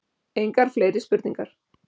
Engar fleiri spurningar.